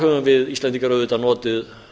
höfum við íslendingar auðvitað notið